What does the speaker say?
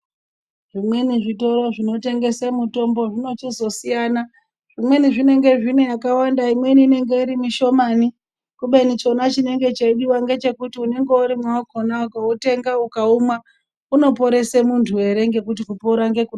Zvimweni zvitoro zvinotengese mitombo, zvinochizosiyana, zvimweni zvinenge zvineyakawanda zvimweni zvine mishomani, khubeni chinonga cheidiwa mgechekuti unenge urimo wakhona ukautenga ukaumwa unoporese muntu ere ngekuti kupona ngekunodiwa.